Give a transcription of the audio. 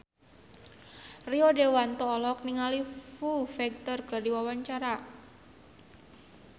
Rio Dewanto olohok ningali Foo Fighter keur diwawancara